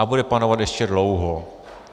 A bude panovat ještě dlouho.